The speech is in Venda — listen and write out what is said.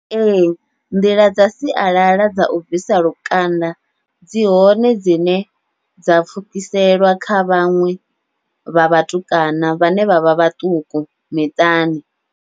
Ee, nḓila dza sialala dza u bvisa lukanda dzi hone dzine dza pfhukiselwa kha vhaṅwe vha vhatukana vhane vha vha vhaṱuku miṱani.